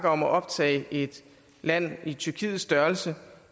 om at optage et land i tyrkiets størrelse